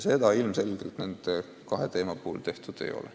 Seda ilmselgelt nende kahe haigla puhul tehtud ei ole.